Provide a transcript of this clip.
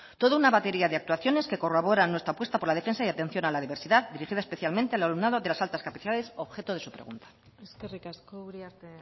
toda una batería de actuaciones que corroboran nuestra apuesta por la defensa y atención a la diversidad dirigida especialmente al alumnado de las altas capacidades objeto de su pregunta eskerrik asko uriarte